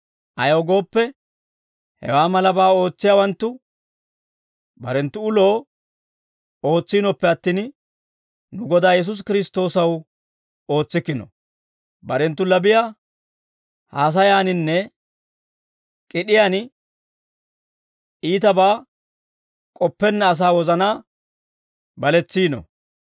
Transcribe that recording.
Ayaw gooppe, hewaa malabaa ootsiyaawanttu barenttu uloo ootsiinoppe attin, nu Godaa Yesuusi Kiristtoosaw ootsikkino; barenttu labiyaa haasayaaninne k'id'iyaan iitabaa k'oppenna asaa wozanaa baletsiino.